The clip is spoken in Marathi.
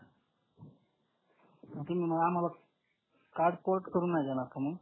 तुम्ही मग आम्हाला कार्ड पोर्ट करून नाही देणार का मग